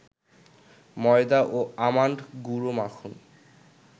ময়দা ও আমন্ড গুঁড়ো মাখুন